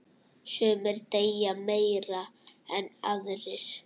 Sumir deyja meira en aðrir.